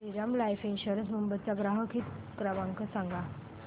Shriram life insurance Mumbai चा ग्राहक हित क्रमांक सांगा